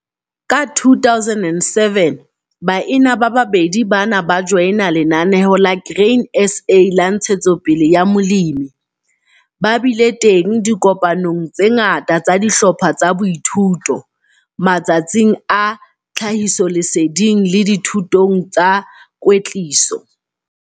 Ka 2007, baena ba babedi bana ba joina Lenaneo la Grain SA la Ntshetsopele ya Molemi. Ba bile teng dikopanong tse ngata tsa dihlopha tsa boithuto, matsatsing a tlhahisoleseding le dithutong tsa kwetliso.